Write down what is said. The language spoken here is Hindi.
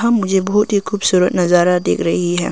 मुझे बहुत ही खूबसूरत नजारा दिख रही है।